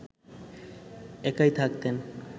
একাই থাকতেন